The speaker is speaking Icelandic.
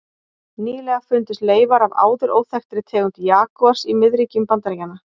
Nýlega fundust leifar af áður óþekktri tegund jagúars í miðríkjum Bandaríkjanna.